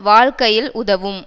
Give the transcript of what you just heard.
வாழ்க்கையில் உதவும்